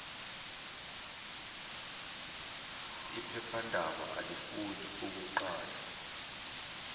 iphephandaba alifuni ukuqhatha